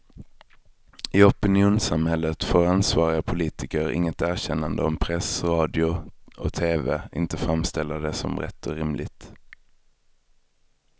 I opinionssamhället får ansvariga politiker inget erkännande om press, radio och tv inte framställer det som rätt och rimligt.